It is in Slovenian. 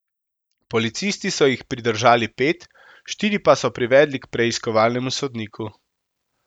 Policisti so jih pridržali pet, štiri pa so privedli k preiskovalnemu sodniku.